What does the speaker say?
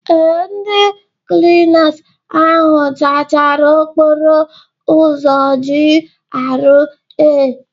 Ee, ndị klinas ahụ zachara okporo ụzọ GRA.